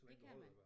Det kan man